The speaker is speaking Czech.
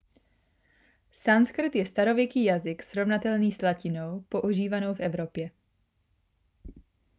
sanskrt je starověký jazyk srovnatelný s latinou používanou v evropě